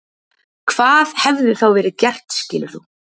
Hvað hefði þá verið gert skilur þú?